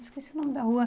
Esqueci o nome da rua.